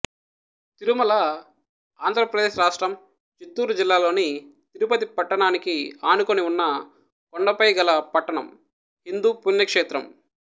తిరుమల ఆంధ్ర ప్రదేశ్ రాష్ట్రం చిత్తూరు జిల్లాలోని తిరుపతి పట్టణానికి ఆనుకొని ఉన్న కొండలపై గల పట్టణం హిందూ పుణ్యక్షేత్రం